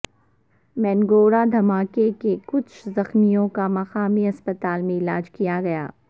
مینگورہ دھماکے کے کچھ زخمیوں کا مقامی ہسپتال میں علاج کیا گیا